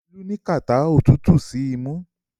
Olú ní kàtá òtútù sì ń mu.